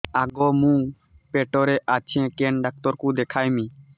ଆଗୋ ମୁଁ ପେଟରେ ଅଛେ କେନ୍ ଡାକ୍ତର କୁ ଦେଖାମି